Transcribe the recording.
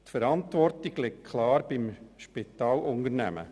Die Verantwortung liegt klar beim Spitalunternehmen.